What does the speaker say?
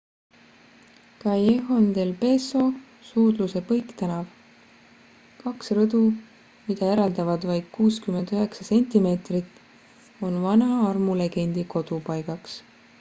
callejon del beso suudluse põiktänav. kaks rõdu mida eraldavad vaid 69 sentimeetrit on vana armulegendi kodupaigaks